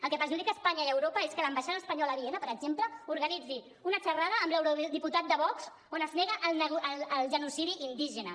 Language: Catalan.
el que perjudica espanya i europa és que l’ambaixada espanyola a viena per exemple organitzi una xerrada amb l’eurodiputat de vox on es nega el genocidi indígena